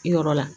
I yɔrɔ la